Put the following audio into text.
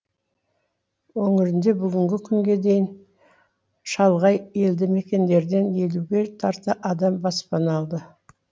өңірде бүгінгі күнге дейін шалғай елді мекендерден елуге тарта адам баспана алды